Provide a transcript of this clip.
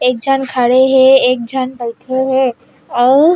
एक झन खड़े हे एक झन बैठे हे अऊ--